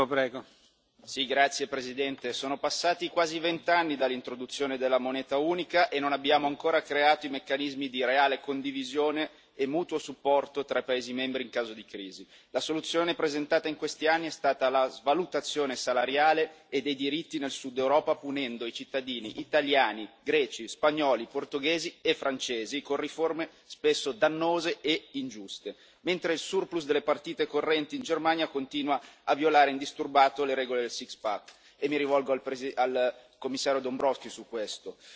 Signor Presidente, onorevoli colleghi, sono passati quasi vent'anni dall'introduzione della moneta unica e non abbiamo ancora creato i meccanismi di reale condivisione e mutuo supporto tra i paesi membri in caso di crisi. La soluzione presentata in questi anni è stata la svalutazione salariale e dei diritti nel sud d'Europa, punendo i cittadini italiani, greci, spagnoli, portoghesi e francesi con riforme spesso dannose e ingiuste, mentre il surplus delle partite correnti in Germania continua a violare indisturbato le regole del Six Pack, e mi rivolgo al Commissario Dombrovskis su questo.